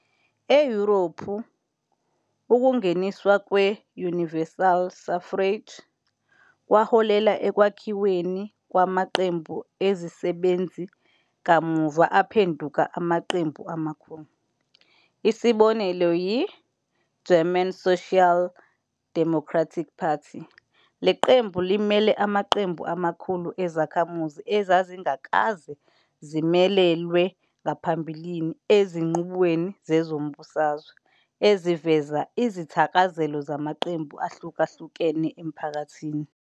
EYurophu, ukungeniswa kwe-"universal suffrage" kwaholela ekwakhiweni kwamaqembu ezisebenzi kamuva aphenduka amaqembu amakhulu, isibonelo yi-"German Social Democratic Party."Le qembu limele amaqembu amakhulu ezakhamuzi ezazingakaze zimelelwe ngaphambili ezinqubweni zezombusazwe, eziveza izithakazelo zamaqembu ahlukahlukene emphakathini.